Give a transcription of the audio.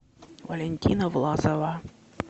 валентина власова